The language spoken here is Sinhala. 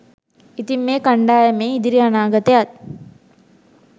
ඉතින් මේ කණ්ඩායමේ ඉදිරි අනාගතයත්